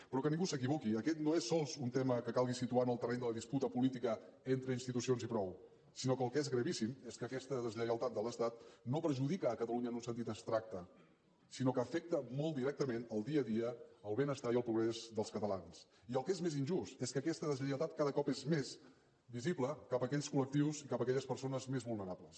però que ningú s’equivoqui aquest no és sols un tema que calgui situar en el terreny de la disputa política entre institucions i prou sinó que el que és gravíssim és que aquesta deslleialtat de l’estat no perjudica catalunya en un sentit abstracte sinó que afecta molt directament el dia a dia el benestar i el progrés dels catalans i el que és més injust és que aquesta deslleialtat cada cop és més visible cap a aquells colaquelles persones més vulnerables